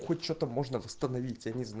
хоть что-то можно восстановить